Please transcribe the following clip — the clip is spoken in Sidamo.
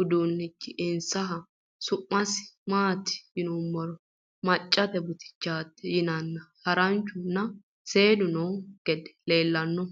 uduunnichi insaho . Su'masi maati yinummoro maccatte butichaatti yinnanni haranchu nna seedu noo gede leelanno